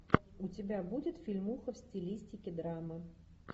у тебя будет фильмуха в стилистике драма